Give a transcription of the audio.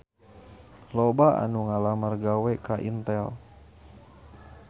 Loba anu ngalamar gawe ka Intel